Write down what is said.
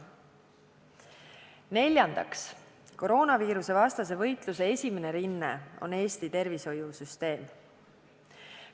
Neljandaks, koroonaviirusevastase võitluse esimene rinne on Eesti tervishoiusüsteem.